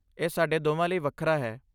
ਇਹ ਸਾਡੇ ਦੋਵਾਂ ਲਈ ਵੱਖਰਾ ਹੈ!